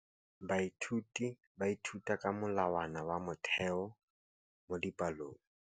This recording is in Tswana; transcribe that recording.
Baithuti ba ithuta ka molawana wa motheo mo dipalong.